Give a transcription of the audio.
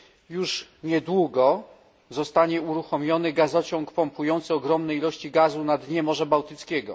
Już niedługo zostanie uruchomiony gazociąg pompujący ogromne ilości gazu na dnie Morza Bałtyckiego.